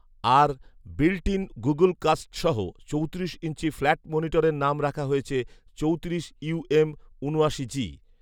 R built in Google কাস্টসহ চৌত্রিশ inch flat মনিটরের নাম রাখা হয়েছে চৌত্রিশ ইউএম ঊনআশি জি